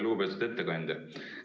Lugupeetud ettekandja!